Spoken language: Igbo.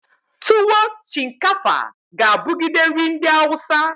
Tuwo shinkafa ga abugide nri ndi awusa.